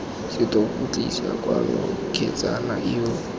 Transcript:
setopo tlisa kwano kgetsana eo